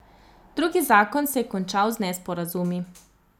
Drugi zakon se je končal z nesporazumi.